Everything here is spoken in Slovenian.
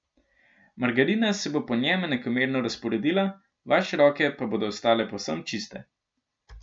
Margarina se bo po njem enakomerno razporedila, vaše roke pa bodo ostale povsem čiste.